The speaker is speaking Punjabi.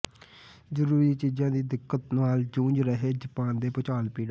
ਜ਼ਰੂਰੀ ਚੀਜਾਂ ਦੀ ਦਿੱਕਤ ਨਾਲ ਜੂਝ ਰਹੇ ਜਾਪਾਨ ਦੇ ਭੂਚਾਲ ਪੀੜਤ